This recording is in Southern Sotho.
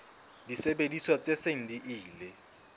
disebediswa tse seng di ile